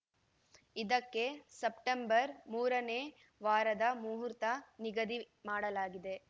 ಇದಕ್ಕೆ ಸೆಪ್ಟೆಂಬರ್‌ ಮೂರನೇ ವಾರದ ಮಹೂರ್ತ ನಿಗದಿ ಮಾಡಲಾಗಿದೆ